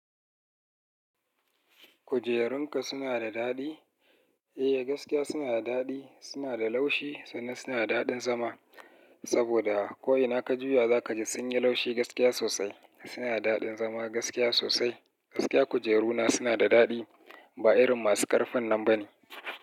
Kujerunka suna da daɗi? Eh, gaskiya suna da daɗi, suna da laushi sannan suna da daɗin zama. Saboda ko ina ka juya za ka ji sun yi laushi gaskiya sosai. Suna da daɗin zama gaskiya sosai. Gaskiya kujeru na suna da daɗi. Ba irin masu ƙarfin nan ba ne.